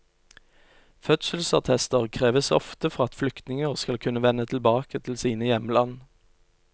Fødselsattester kreves ofte for at flyktninger skal kunne vende tilbake til sine hjemland.